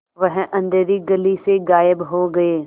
वह अँधेरी गली से गायब हो गए